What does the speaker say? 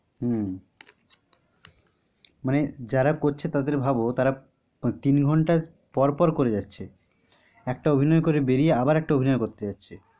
হম মানে যারা করছে তাদের ভাব তারা তিন ঘন্টা পর পর করে যাচ্ছে, একটা অভিনয় করে বেরিয়ে আবার আরেকটা অভিনয় করতে হচ্ছে।